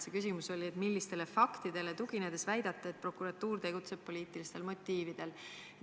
See küsimus nimelt oli, millistele faktidele tuginedes te väidate, et prokuratuur tegutseb poliitilistel motiividel.